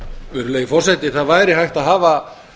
virðulegi forseti það væri hægt að hafa